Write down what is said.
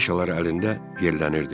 Qafişalar əlində yerlənirdi.